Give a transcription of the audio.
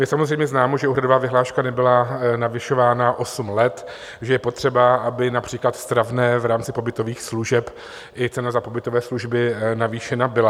Je samozřejmě známo, že úhradová vyhláška nebyla navyšována osm let, že je potřeba, aby například stravné v rámci pobytových služeb i cena za pobytové služby navýšena byla.